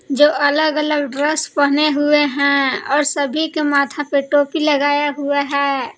जो अलग अलग ड्रेस पहने हुवे हैं और सभी के माथा पे टोपी लगाया हुआ है।